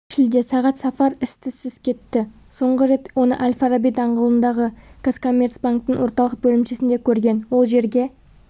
шілде сағат сафар із-түсссіз кетті соңғы рет оны әл-фараби даңғылындағы қазкоммерцбанктің орталық бөлімшесінде көрген ол жерге